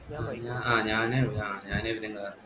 ആഹ് ഞാന് ആഹ് ഞാന് എബിന്